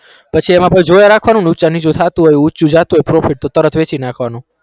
પછી એમાં પાછુ જોયા રાખવાનું ઊંચા નીચા થાતું હોય ઊંચું જાતું હોય profit તો તરત વેચી નાખવાનું